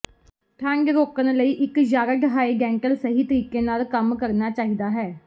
ਠੰਢ ਰੋਕਣ ਲਈ ਇੱਕ ਯਾਰਡ ਹਾਈਡੈਂਟਲ ਸਹੀ ਤਰੀਕੇ ਨਾਲ ਕੰਮ ਕਰਨਾ ਚਾਹੀਦਾ ਹੈ